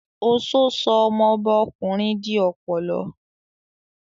Oṣó sọ ọmọbá ọkùnrin di ọ̀pọ̀lọ́